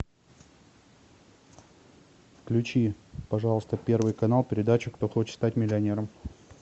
включи пожалуйста первый канал передачу кто хочет стать миллионером